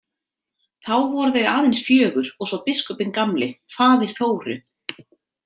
Þá voru þau aðeins fjögur og svo biskupinn gamli, faðir Þóru.